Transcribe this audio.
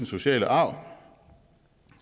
sociale arv